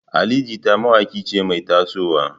Ali Jita mawaƙiya ce mai taso wa.